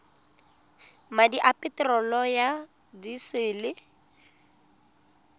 madi a peterolo ya disele